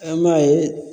An b'a ye